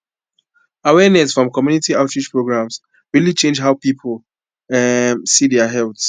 awareness from community outreach programs really change how people how people um see their health